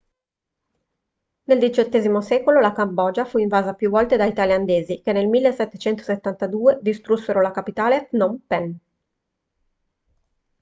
nel xviii secolo la cambogia fu invasa più volte dai thailandesi che nel 1772 distrussero la capitale phnom phen